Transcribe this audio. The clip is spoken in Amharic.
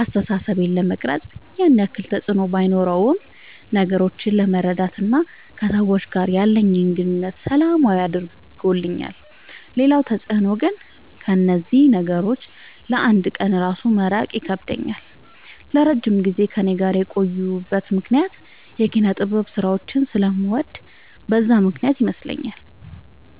አስተሳሰቤን ለመቅረጽ ያን ያክል ተፅዕኖ ባኖረውም ነገሮችን ለመረዳት እና ከሰዎች ጋር ያለኝን ግንኙነት ሰላማዊ አድርገውልኛል ሌላው ተፅዕኖ ግን ከእነዚህ ነገሮች ለ አንድ ቀን እራሱ መራቅ ይከብደኛል። ለረጅም ጊዜ ከእኔ ጋር የቆዩበት ምክንያት የኪነጥበብ ስራዎችን ስለምወድ በዛ ምክንያት ይመስለኛል።